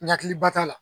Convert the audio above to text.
N ɲakili ba t'a la